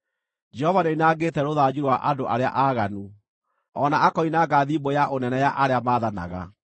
Jehova nĩoinangĩte rũthanju rwa andũ arĩa aaganu, o na akoinanga thimbũ ya ũnene ya arĩa maathanaga,